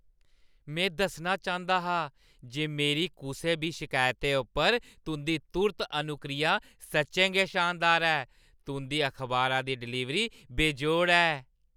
में दस्सना चांह्‌दा हा जे मेरी कुसै बी शिकायता उप्पर तुंʼदी तुर्त अनुक्रिया सच्चें गै शानदार ऐ। तुंʼदी अखबारा दी डलीवरी बेजोड़ ऐ।